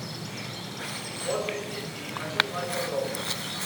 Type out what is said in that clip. отдых с детьми хочу знать подробности